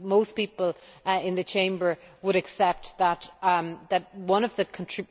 Most people in the Chamber would accept that one of the